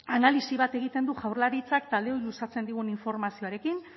analisi bat egiten du jaurlaritzak taldeoi luzatzen digun informazioarekin